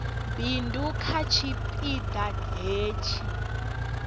bindu kha tshipi ḓa hetshi